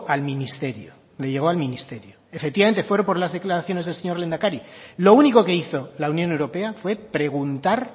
al ministerio le llegó al ministerio efectivamente fueron por las declaraciones del señor lehendakari lo único que hizo la unión europea fue preguntar